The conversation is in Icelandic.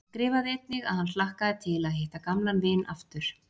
Hann skrifaði einnig að hann hlakkaði til að hitta gamlan vin aftur.